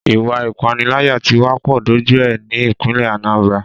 Ìwà ìpániláyà tí wá pọ̀ dójú ẹ ní ìpínlè Anambra.